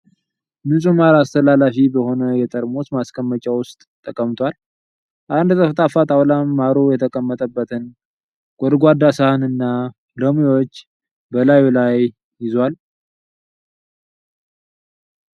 ንጹህ ማር አስተላላፊ በሆነ የጠርሙስ ማስቀመጫ ዉስጥ ተቀምጧል። አንድ ጠፍጣፋ ጣውላም ማሩ የተቀመጠበትን ጎድጓዳ ሳህን እና ሎሚዎችን በላዩ ላይ ይዟል።